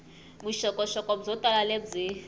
vuxokoxoko byo tala lebyi